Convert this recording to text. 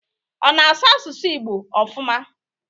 Ọ na asụ asụsụ Igbo ofụma?